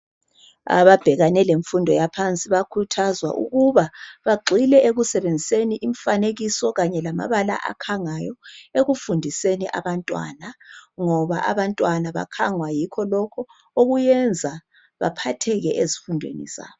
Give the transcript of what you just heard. Ababhekane lemfumdo yaphansi bakhuthazwa ukuba bagxile ekusebenziseni imfanekiso kanye lamabala akhangayo ekufundiseni abantwana, ngoba abantwana bakhangwa yikho lokhu okuyenza baphatheke ezifundweni zabo.